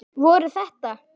Voru þetta.